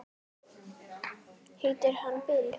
Heitir hann Bill?